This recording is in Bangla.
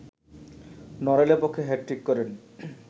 নড়াইলের পক্ষে হ্যাটট্রিক করেন